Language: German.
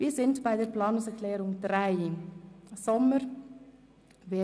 Wir sind bei der Planungserklärung 3 von Grossrat Sommer angelangt.